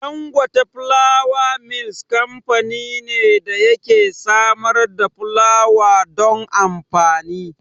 Dangote Flour Mills kamfani ne da yake samar da fulawa don amfani.